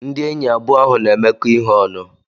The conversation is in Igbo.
Ndị enyi abụọ ahụ n'emekọ ihe ọnụ.